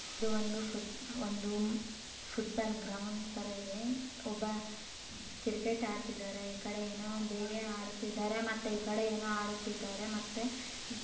ಮತ್ತೆ ಇದು ಒಂದು ಇದು ಒಂದು ಫುಡ್ಬಾಲ್ ಗ್ರೌಂಡ್ ತರ ಇದೆ ಈ ಕಡೆ ಕ್ರಿಕೆಟ್ ಆಡ್ತಾ ಇದ್ದಾರೆ ಮತ್ತೆ ಕಡೆ ನೋಡ್ತಾ ಇದ್ದಾರೆ ಕಡೆ ನೋಡ್ತಾ ಇದ್ದಾರೆ.